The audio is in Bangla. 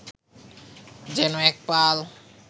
যেন এক পাল